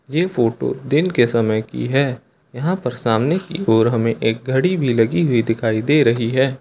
ये फोटो दिन के समय की है यहां पर सामने की ओर हमे एक घड़ी भी लगी दिखाई दे रही है।